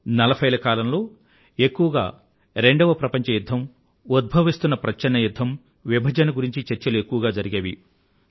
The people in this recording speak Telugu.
నలభైల కాలంలో ఎక్కువగా రెండవ ప్రపంచయుధ్ధం ఉద్భవిస్తున్న ప్రచ్ఛన్న యుధ్ధం విభజన గురించిన చర్చలు ఎక్కువగా జరిగేవి